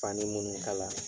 Fani mun kala.